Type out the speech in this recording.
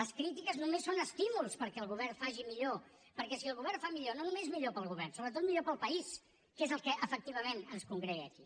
les crítiques només són estímuls perquè el govern ho faci millor perquè si el govern ho fa millor no només és millor per al govern sobretot és millor per al país que és el que efectivament ens congrega aquí